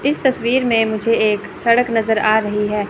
इस तस्वीर में मुझे एक सड़क नज़र आ रही है।